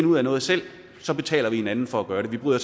ud af noget selv og så betaler vi en anden for at gøre det vi bryder